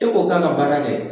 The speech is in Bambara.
E ko k'a ka baara kɛ